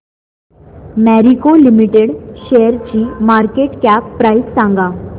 Marico limited शेअरची market cap price सांगा